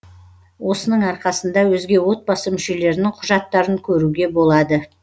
осының арқасында өзге отбасы мүшелерінің құжаттарын көруге болады